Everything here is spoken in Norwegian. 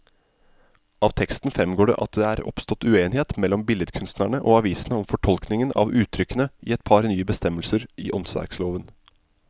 Av teksten fremgår det at det er oppstått uenighet mellom billedkunstnerne og avisene om fortolkningen av uttrykkene i et par nye bestemmelser i åndsverkloven.